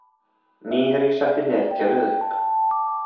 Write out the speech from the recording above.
Nýherji setti netkerfið upp